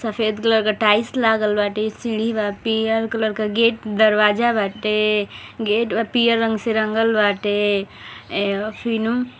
सफेद कलर का टाइल्स लागल बाटे सीढ़ी बा पीयर कलर का गेट दरवाजा बाटे गेट ब- पीयर रंग से रंगल बाटे एह फ़िनों --